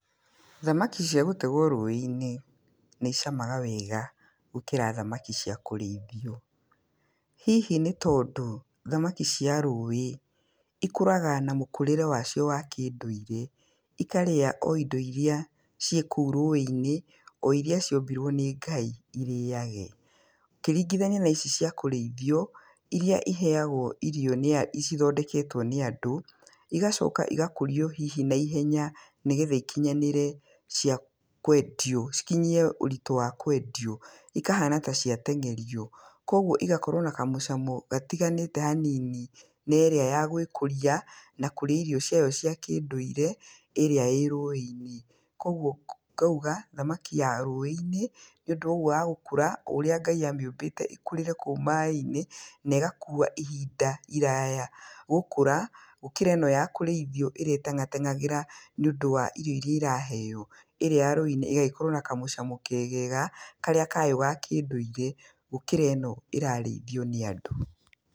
Thamaki cia gũtegwo rũĩ-inĩ, nĩ icamaga wega, gũkĩra thamaki cia kũrĩithio. Hihi nĩ tondũ, thamaki cia rũĩ ikũraga na mũkũrĩre wacio wa kĩndũirĩ, ikarĩa o indo iria cĩkũu rũĩ-inĩ, o iria ciũmbirwo nĩ ngai irĩage. Ũkĩringithania naici cĩa kũrĩithio iria iheyagwo irio nĩ a cithondeketwo nĩ andũ, igacoka igakũrio hihi naihenya nĩgetha ikinyanĩre cia kwendio, ikinyĩe ũritũ wa kwendio, ikahana ka ciatengerio, koguo igakorwo na kamũcamo gatiganĩtĩ hanini, na ĩrĩa ya gwĩkũria, na kũrĩa irio ciao cĩa kĩndũirĩ, ĩrĩa ĩ rũĩ-inĩ. Koguo ngauga, thamaki ya rũĩ-inĩ, nĩ ũndũ wogwo wa gũkũra o ũrĩa Ngai a mĩũmbĩte ĩkũrĩre kũu maĩ-inĩ, na egakua ihinda iraya gũkũra, gũkĩra ĩno ya kũrĩithio ĩrĩa ĩtengatengagĩra nĩ ũndũ wa irio iria ĩraheo, ĩrĩa ya rũĩ-inĩ ĩgagĩkorwo na kamũcamo kegega karĩa kayo gakĩndũirĩ, gũkĩra ĩno ĩrarĩithio nĩ andũ.